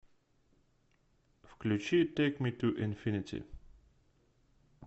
включи тэйк ми ту инфинити